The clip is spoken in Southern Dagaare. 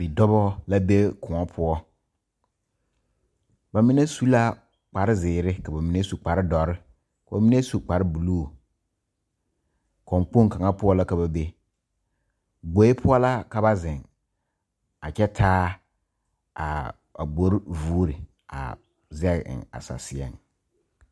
Bidɔba la be koɔ poɔ ba mine su la kparezeere ka ba mine su kparedɔre ka ba mine su kparebulu kɔnkpoŋ kaŋa poɔ la ka ba be gboe poɔ la ka ba zeŋ a kyɛ taa a gbori vuuri a zɛge eŋ a saseɛŋ.